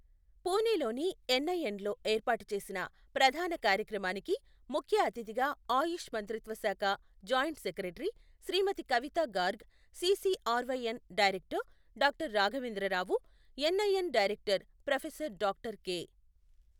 పూణేలోని ఎన్ఐఎన్లో ఏర్పాటు చేసిన ప్రధాన కార్యక్రమానికి ముఖ్య అతిథిగా ఆయుష్ మంత్రిత్వ శాఖ జాయింట్ సెక్రటరీ శ్రీమతి కవితా Garg, CCRYN director doctor Raghavendra Rao, NIN director professor doctor K.